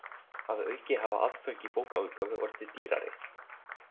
Að auki hafa aðföng í bókaútgáfu orðið dýrari.